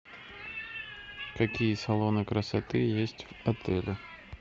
какие салоны красоты есть в отеле